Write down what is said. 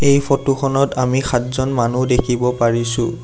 এই ফটো খনত আমি সাতজন মানুহ দেখিব পাৰিছোঁ।